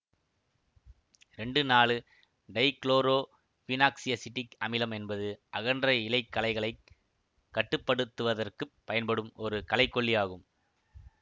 இரண்டு நாலு டைகுளோரோபீனாக்சியசிட்டிக் அமிலம் என்பது அகன்ற இலைக் களைகளைக் கட்டுப்படுத்துவதற்குப் பயன்படும் ஒரு களைக்கொல்லி ஆகும்